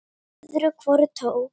Öðru hvoru tók